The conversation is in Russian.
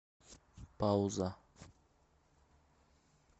пауза